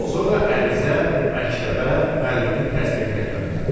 Sonra ərizə məktəbə müəllimin təsdiqinə göndərilirdi.